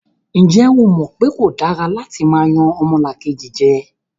Ǹjẹ́ o mọ̀ pé kò dára látí máa yan ọmọlàkejì jẹ?